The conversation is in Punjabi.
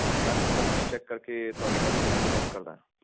ਮੈਂ ਸਿਸਟਮ ਵਿਚ ਚੈੱਕ ਕਰਕੇ ਤੁਹਾਡੀ ਕੰਪਲੇਂਟ ਨੂੰ ਨੋਟ ਕਰਦਾ ਆ